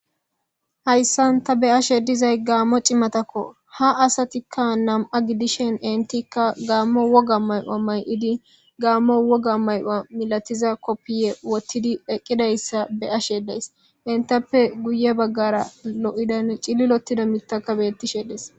hayssan ta be ashe dizay gaammo cimatakko ha asatikka nam7a gidishen entikka gaammo woga mayoa may7idi gaammo woga may7oa milatiza koppiye wottidi eqqidayssa be ashe days entappe guye baggara lo7idan cililotida mitaka bettishe dees